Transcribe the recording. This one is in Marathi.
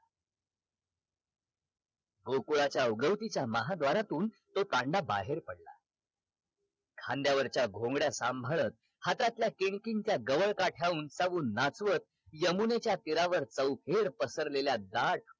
गोकुळाच्या उगवतीच्या महाद्वारातून तो तांडा बाहेर पडला खांद्यावरच्या घोंगड्या सांभाळत हातातल्या किणकिणत्या गवळकाठ्या उंचावून नाचवत यमुनेच्या तीरावर चौफेर पसरलेल्या दाट